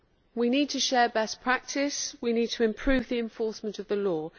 We need to share best practice we need to improve the enforcement of the law.